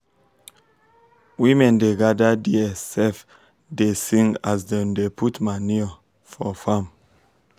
women da gada dia um sef um da sing as dem da put manure um for farm